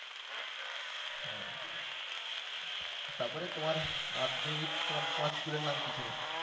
হ্যাঁ তারপরে তোমার মাধ্যমিক উচ্চ মাধ্যমিক তোমার school এর নাম কি ছিল?